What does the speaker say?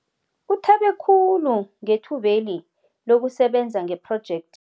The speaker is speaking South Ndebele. Uthabe khulu ngethube li lokusebenza ngephrojekthi